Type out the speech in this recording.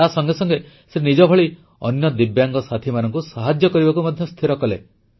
ତାସଙ୍ଗେ ସଙ୍ଗେ ସେ ନିଜଭଳି ଅନ୍ୟ ଦିବ୍ୟାଙ୍ଗ ସାଥିମାନଙ୍କୁ ସାହାଯ୍ୟ କରିବାକୁ ମଧ୍ୟ ସ୍ଥିର କଲେ